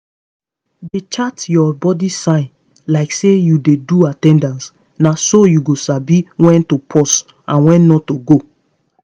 dey chart your body signs like say you dey do at ten dance—na so you go sabi when to pause and when to go.